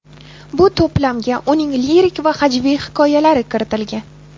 Bu to‘plamga uning lirik va hajviy hikoyalari kiritilgan.